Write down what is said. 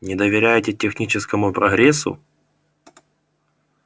не доверяете техническому прогрессу